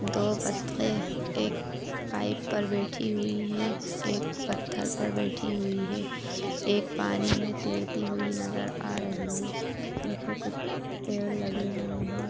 दो बतके एक पाइप पर बैठी हुईं हैं एक पत्थर पर बैठी हुई है एक पानी मे तेरती हुई नजर आ रही है पीछे कुछ पेड़ लगे हुएं हैं।